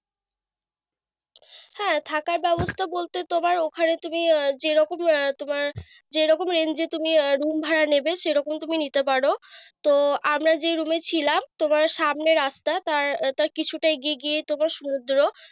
হ্যাঁ থাকার ব্যবস্থা বলতে তোমার ওখানে তুমি আহ যেরকম আহ তুমার যেরকম range এ তুমি room ভাড়া নেবে, সেইরকম range এ তুমি নিতে পারো। তো আমরা যে room এ ছিলাম, তোমার সামনে রাস্তা তার তার কিছুটা এগিয়ে গিয়ে তোমার সমুদ্র।